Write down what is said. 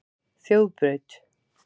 Þjóðbraut